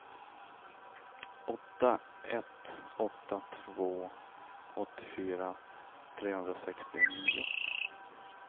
åtta ett åtta två åttiofyra trehundrasextionio